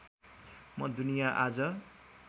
म दुनिया आज